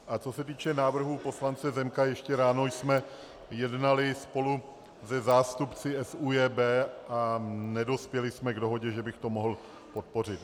A co se týče návrhu poslance Zemka, ještě ráno jsme jednali spolu se zástupci SÚJB a nedospěli jsme k dohodě, že bych to mohl podpořit.